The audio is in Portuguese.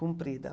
Comprida.